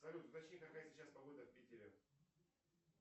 салют уточни какая сейчас погода в питере